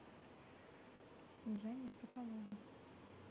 снежане соколовой